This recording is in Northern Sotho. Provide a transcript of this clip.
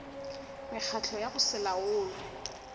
mekgatlo ya go se laolwe